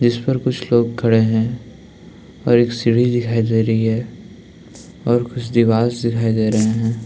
जिस पर कुछ लोग खड़े हैं और एक सीढ़ी दिखाई दे रही है और कुछ दीवालस दिखाई दे रहे हैं।